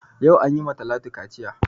Yau an yi ma Talatu kaciya